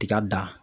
Tiga dan